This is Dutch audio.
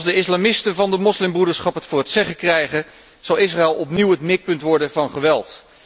Als de islamisten van de moslimbroederschap het voor het zeggen krijgen, zal Israël opnieuw het mikpunt worden van geweld.